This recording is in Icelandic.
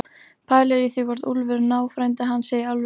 Pælir í því hvort Úlfur, náfrændi hans, sé í alvöru að spá í